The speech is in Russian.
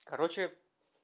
короче